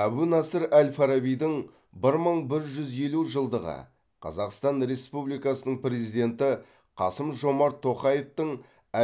әбу насыр әл фарабидің бір мың бір жүз елу жылдығы қазақстан республикасының президенті қасым жомарт тоқаевтың